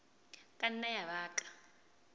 ka nna ya ba ka